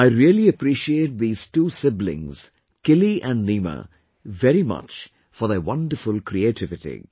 I really appreciate these two siblings Kili and Nima very much for their wonderful creativity